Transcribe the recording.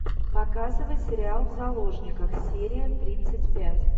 показывай сериал в заложниках серия тридцать пять